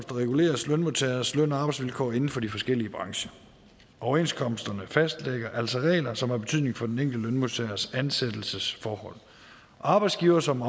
reguleres lønmodtageres løn og arbejdsvilkår inden for de forskellige brancher overenskomsterne fastlægger altså regler som har betydning for den enkelte lønmodtagers ansættelsesforhold arbejdsgivere som